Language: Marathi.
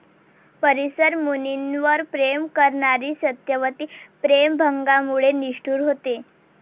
परिसर मुनींवर प्रेम करणारी सत्यवती प्रेमभंगामुळे निष्ठुर होते.